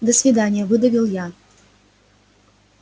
до свидания выдавил я